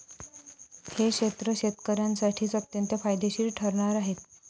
हे क्षेत्र शेतकऱ्यांसाठी अत्यंत फायदेशीर ठरणार आहे.